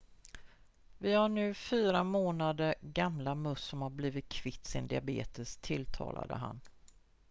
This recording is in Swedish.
vi har nu 4 månader gamla möss som har blivit kvitt sin diabetes tillade han